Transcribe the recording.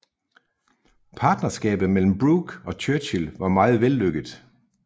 Partnerskabet mellem Brooke og Churchill var meget vellykket